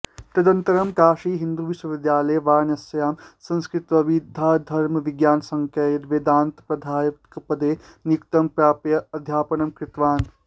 तदनन्तरं काशीहिन्दूविश्वविद्यालये वाराणस्यां संस्कृतविद्याधर्मविज्ञानसंकाये वेदान्तप्राध्यापकपदे नियुक्तिं प्राप्य अध्यापनम् कृतवान्